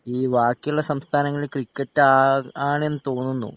E വാക്കിള്ള സംസ്ഥാനങ്ങളിൽ ക്രിക്കെറ്റാ ആണെന്ന് തോന്നുന്നു